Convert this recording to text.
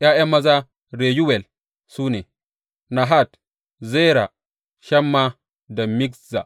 ’Ya’yan maza Reyuwel su ne, Nahat, Zera, Shamma da Mizza.